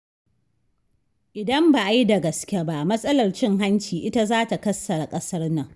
Idan ba a yi da gaske ba matsalar cin hanci ita zata kassara ƙasar nan.